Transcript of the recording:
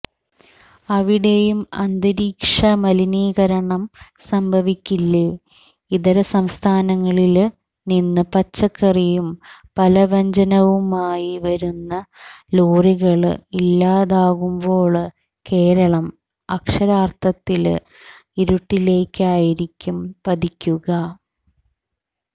അവിടെയും അന്തരീക്ഷമലിനീകരണം സംഭവിക്കില്ലേ ഇതരസംസ്ഥാനങ്ങളില്നിന്നു പച്ചക്കറിയും പലവ്യഞ്ജനവുമായി വരുന്ന ലോറികള് ഇല്ലാതാകുമ്പോള് കേരളം അക്ഷരാര്ഥത്തില് ഇരുട്ടിലേയ്ക്കായിരിക്കും പതിക്കുക